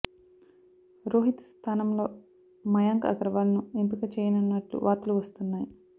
రోహిత్ స్థానంలో మయాంక్ అగర్వాల్ ను ఎంపిక చేయనున్నట్లు వార్తలు వస్తు్న్నాయి